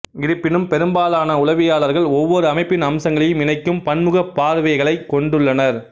இருப்பினும் பெரும்பாலான உளவியலாளர்கள் ஒவ்வொரு அமைப்பின் அம்சங்களையும் இணைக்கும் பன்முக பார்வைகளைக் கொண்டுள்ளனர்